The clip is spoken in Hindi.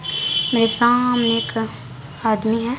मेरे सामने एक आदमी है।